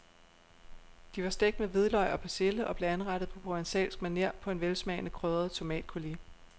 De var stegt med hvidløg og persille og blev anrettet på provencalsk maner på en velsmagende krydret tomatcoulis.